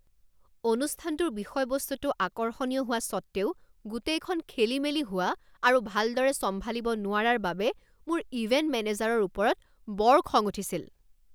অনুষ্ঠানটোৰ বিষয়বস্তুটো আকৰ্ষণীয় হোৱা স্বত্ত্বেও গোটেইখন খেলিমেলি হোৱা আৰু ভালদৰে চম্ভালিব নোৱাৰাৰ বাবে মোৰ ইভেণ্ট মেনেজাৰৰ ওপৰত বৰ খং উঠিছিল।